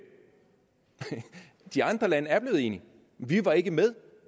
de andre lande er blevet enige vi var ikke med